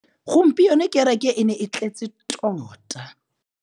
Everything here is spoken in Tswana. Gompieno kêrêkê e ne e tletse tota.